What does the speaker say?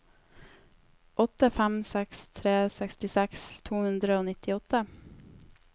åtte fem seks tre sekstiseks to hundre og nittiåtte